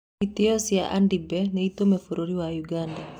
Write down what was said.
Itoi cia Andibe nĩũmĩte bũrũri wa ũganda.